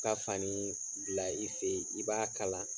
Ka fanii bila i fe ye, i b'a kala